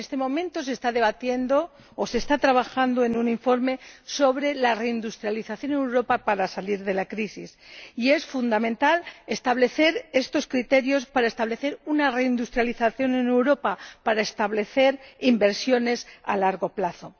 En este momento se está debatiendo o se está trabajando en un informe sobre la reindustrialización en Europa para salir de la crisis, y es fundamental establecer estos criterios para establecer una reindustrialización en Europa, para establecer inversiones a largo plazo.